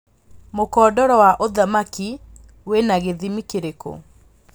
mũkondoro wa ũthamaki wĩna gĩthimĩ kĩrĩkũ